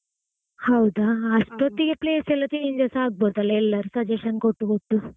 ಹೌದಾ? ಅಸ್ಟೊತ್ತಿಗೆ place ಎಲ್ಲ changes ಆಗ್ಬೋದಲ್ಲ ಎಲ್ಲರು suggestion ಕೊಟ್ಟು ಕೊಟ್ಟು.